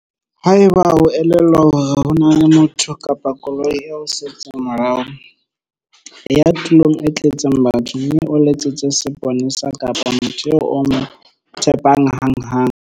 Haeba e o elellwa hore ho na le motho kapa koloi e o setseng morao, e ya tulong e tletseng batho mme o letsetse seponesa kapa motho eo o mo tshepang hanghang.